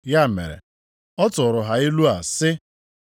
Ya mere, ọ tụrụ ha ilu a sị,